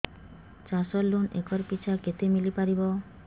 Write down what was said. ଚାଷ loan acre ପିଛା କେତେ ମିଳି ପାରିବ